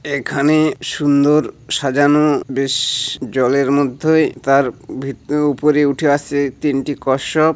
এখানে সুন্দর সাজানো বে-শ। জলের মধ্যে তার ভিত উপরে উঠে আছে তিনটি কচ্ছপ।